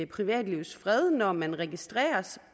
privatlivets fred når man registreres